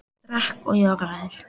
Ég drakk og ég var glaður.